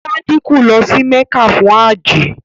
Sádíkù lọ sí Mẹ́kà fún áàjì.